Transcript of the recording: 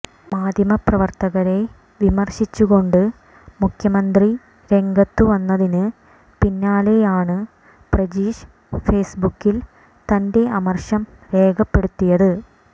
മാധ്യമ പ്രവർത്തകരെ വിമർശിച്ചു കൊണ്ട് മുഖ്യമന്ത്രി രംഗത്ത് വന്നതിന് പിന്നാലെയാണ് പ്രജീഷ് ഫെയ്സ് ബുക്കിൽ തന്റെ അമർഷം രേഖപ്പെടുത്തിയത്